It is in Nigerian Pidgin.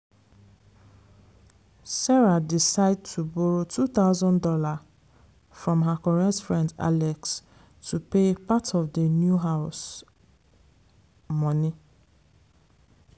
sarah decide to borrow two thousand dollars from her correct friend alex to pay part of d new house money.